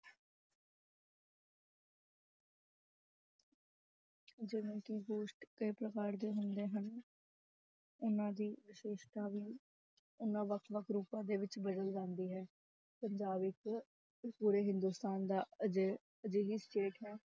ਜਿਵੇਂ ਕਿ ਗੋਸ਼ਟ ਕਈ ਪ੍ਰਕਾਰ ਦੇ ਹੁੰਦੇ ਹਨ ਉਹਨਾਂ ਦੀ ਵਿਸ਼ੇਸ਼ਤਾ ਵੀ ਉਹਨਾਂ ਵੱਖ ਵੱਖ ਰੂਪਾਂ ਦੇ ਵਿੱਚ ਬਦਲ ਜਾਂਦੀ ਹੈ, ਪੰਜਾਬ ਇੱਕ ਪੂਰੇ ਹਿੰਦੁਸਤਾਨ ਦਾ ਅਜਿ~ ਅਜਿਹੀ state ਹੈ